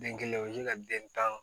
Den kelen o bɛ ka den tan